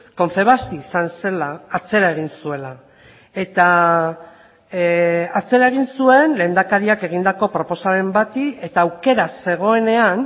confebask izan zela atzera egin zuela eta atzera egin zuen lehendakariak egindako proposamen bati eta aukera zegoenean